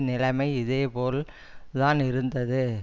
நிலைமை இது போல் தான் இருந்தது